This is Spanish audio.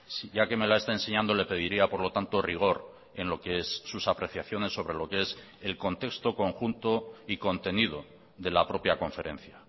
sí ya que me la está enseñando le pediría por lo tanto rigor en lo que es sus apreciaciones sobre lo que es el contexto conjunto y contenido de la propia conferencia